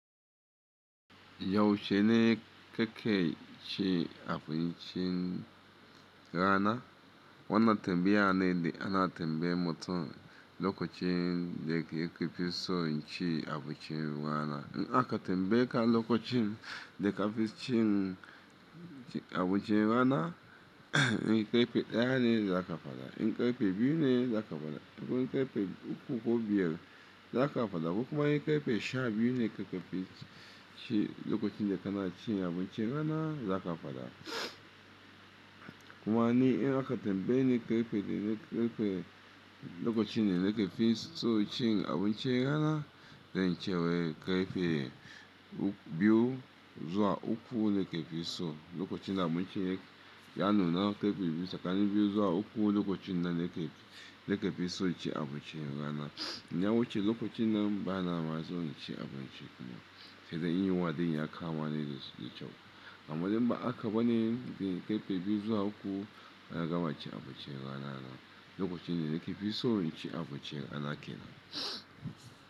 Yaushe ne kake cin abincin rana? Wannan tambayane da ana tambayan mutun lokacin da yake ke fiso yaci abincin rana. In aka tambaye ka lokacin da ka fi cin abun ci rana, in karfe ɗaya ne za ka faɗa, in karfe biyu ne za ka faɗa, ko in karfe uku ko biyar za ka faɗa ko kuma in karfe sha biyu ne lokacin da ka na ci abun ci rana za ka faɗa. Kuma ni in aka tambaye ni karfe daya nake lokacin da na ke fi so cin abun ci rana, zan ce wai karfe uku biyu zuwa uku nake fi son, lokacin da abincin ya nuna, karfe biyu-- tsakanin biyu zuwa uku lokacin ne nake fi son abincin rana, idan lokacin ya wuce bana ma so in ci abincin sedai in yunwa ya kama ni sosai da kyau amma de ba a ka bane in karfe biyu zuwa uku na gama cin abinci rana lokacin da na ke f iso in ci abincin rana kenan.